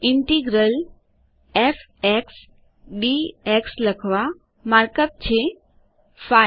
integral f x d x લખવામાર્ક અપ છે5